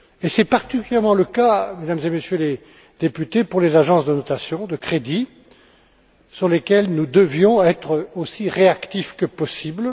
C'est particulièrement le cas, Mesdames et Messieurs les députés, pour les agences de notation de crédit, face auxquelles nous devions être aussi réactifs que possible.